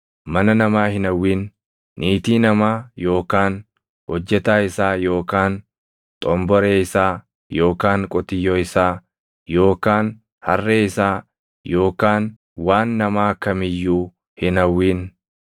Mana namaa hin hawwin. Niitii namaa yookaan hojjetaa isaa yookaan xomboree isaa yookaan qotiyyoo isaa yookaan harree isaa yookaan waan namaa kam iyyuu hin hawwin.”